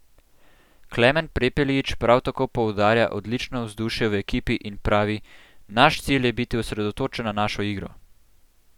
Klemen Prepelič prav tako poudarja odlično vzdušje v ekipi in pravi: "Naš cilj je biti osredotočen na našo igro.